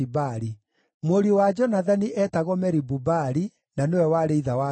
Mũriũ wa Jonathani eetagwo Meribu-Baali, na nĩwe warĩ ithe wa Mika.